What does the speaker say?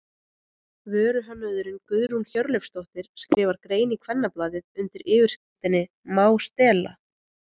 Vöruhönnuðurinn Guðrún Hjörleifsdóttir skrifar grein í Kvennablaðið undir yfirskriftinni Má stela?